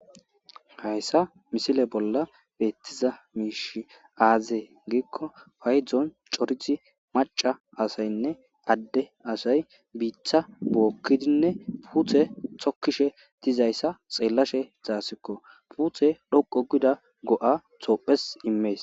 Hayissa misile bolla beettiza miish aazee giikko faydzon corizi maca asaynne adde asay biitha bookkidinne puuthe tokkishe dizayssa xeellashe zaasikko puuthe dhoqo gida go'a toophes immees